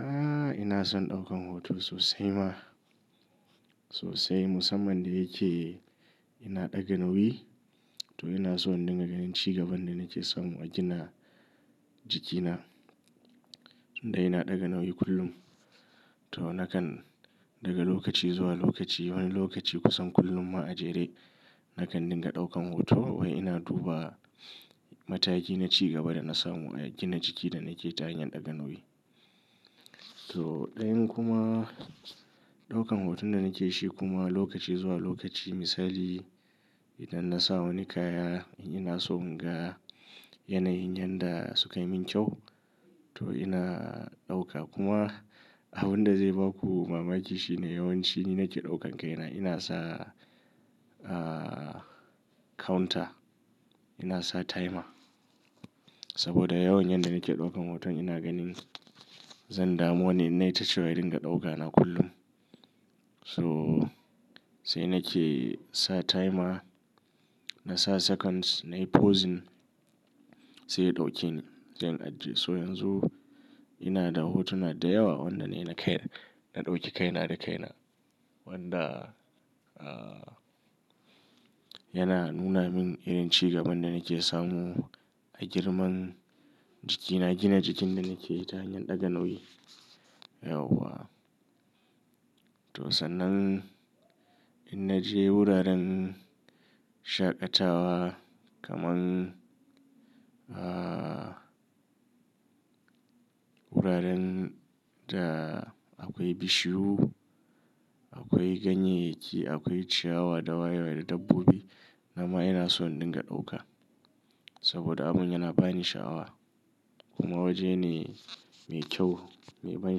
Aaa, ina son ɗaukan hoto sosai ma. Sosai musamman da yake ina ɗaga nauyi to ina so nanga ganin cigaban da nake samu a gina jikina. Inda ina ɗaga nauyi kullum. To nakan daga lokaci zuwa lokaci wani lokaci kusan kullum ma a jere, nakan dinga ɗaukan hoto wai ina duba mataki na cigaba da na samu a gina jiki da nake ta hanyar ɗaga nauyi. To ɗayan kuma ɗaukan hoton da nake shi kuma lokaci zuwa lokaci misali idan nasa wani kaya ina so in ga yanayin yanda sukayi min kyau to ina dauka kuma abun da zai baku mamaki shine yawanci nina ke ɗaukan kaina ina sa aaa counter ina sa timer. Saboda yawan yanda nake ɗaukan hoton ina ganin zan damu wani ya tashi wai ya ringa ɗauka na kullum. So sai nake sa timer nasa seconds nai pausing sai ya ɗauke ni, zai in ajiye. So yanzu ina da hotuna da yawa wanda ni na kai na ɗauki kaina da kaina wanda aaa yana nuna min irin cigaban da nake samu a girman jikina, gina jikin da nake ta hanyar ɗaga nauyi. Yauwa. To sannan idan na je wuraren shaƙatawa kaman aaa wuraren da akwai bishiyu, akwai ganyeyyaki, akwai ciyawa da waye waye da dabbobi, dama ina son na dinga ɗauka. Saboda abun yana bani sha'awa kuma waje ne mai kyau mai ban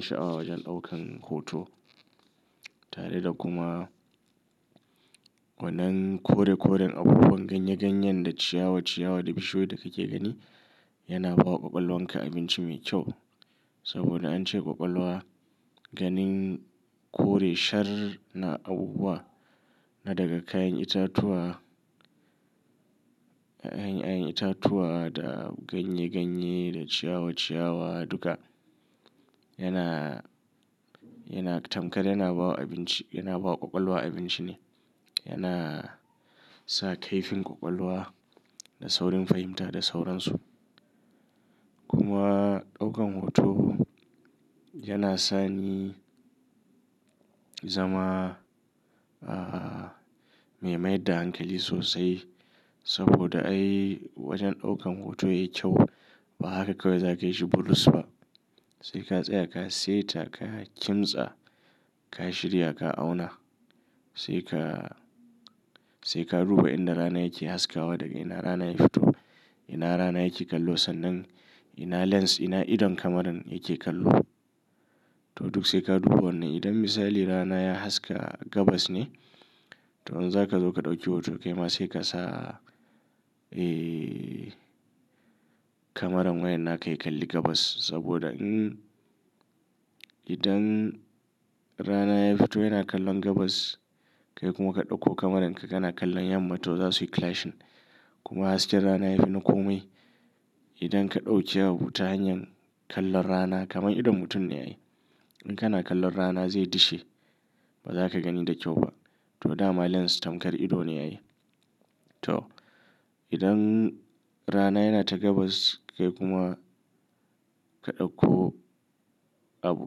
sha'awa wajen ɗaukan hoto. Tare da kuma wannan kore koren abubuwan ganye ganyen da ciyawa ciyawa da bishiyu da kake gani yana bawa ƙwaƙwalwanka abinci mai kyau. Saboda an ce ƙwaƙwalwa ganin kore shar na abubuwa na daga kayan itatuwa, anyi anyi itatuwa da ganye ganye da ciyawa ciyawa duka yana, yana tamkar yana bawa abinci yana bawa ƙwaƙwalwa abinci ne. Yana sa kaifin ƙwaƙwalwa da saurin fahimta da sauran su. Kuma ɗaukan hoto yana sani zama aaa me mai da hankali sosai saboda ai wajen ɗaukan hoto yayi kyau ba haka kawai za ka yi shi bulus ba. Sai ka tsaya ka seta ka kimtsa, ka shirya ka auna sai ka, sai ka duba inda rana yake haskawa daga ina rana ya fito, ina rana yake kallo sannan ina lens ina idon kamaran yake kallo. To duk sai ka duba wannan idan misali rana ya haska gabas ne to yanzu zaka zo ka ɗauki hoto kai ma sai ka sa eee kamaran wayan naka ya kalli gabas saboda in idan rana ya fito yana kallon gabas kai kuma ka ɗauko kamaran ka kana kallon yamma to za suyi clashing kuma hasken rana ya fi na kome. Idan ka ɗauke abu ta hanyar kallon rana kaman idon mutum ne ai. In kana kallon rana zai dishe ba za ka gani da kyau ba. To dama lens tamkar ido ne ai. To idan rana yana ta gabas kai kuma ka ɗauko abu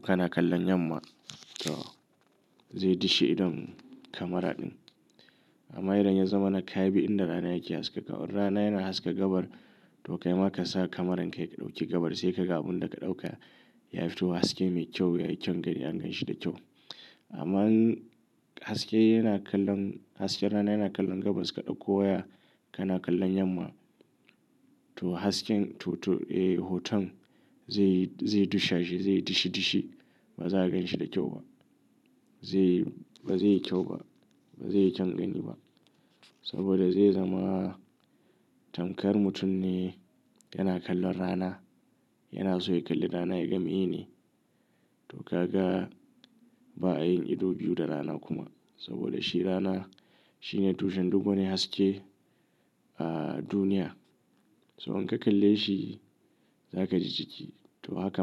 kana kallon yamma to zai dishe idon kamara ɗin. Amma idan ya zama na ka bi inda rana yake haska ka, in rana yana haska gabar to kai ma ka sa kamaran ka ya ɗauki gabas sai ka ga abun da ka ɗauka ya fito haske mai kyau yayi kyan gani an ganshi da kyau. Amma haske yana kallon, hasken rana yana kallon gabas ka ɗauko waya kana kallon yamma to hasken to to eee hoton zai, zai dushe shi zai dishe dishe ba za a ganshi da kyau ba. Zai, ba zai yi kyau ba, ba zai yi kyan gani ba saboda zai zama tamkar mutum ne yana kallon rana yana so ya kalli rana ya ga miyene. To kaga ba a yin ido biyu da rana kuma saboda shi rana shine tushen duk wani haske a duniya. So in ka kalle shi za ka ji jiki to haka ma.